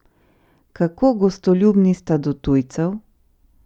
Kako gostoljubni sta do tujcev?